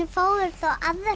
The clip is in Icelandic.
fáum við þá aðra